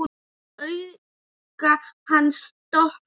Augu hans dökkna líka.